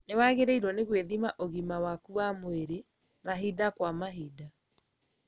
Nĩwagĩrĩirwo nĩ gwĩthima ũgima waku wa mwĩrĩ mahinda kwa mahinda